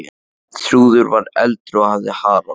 Þrúður var eldri og hafði Harald.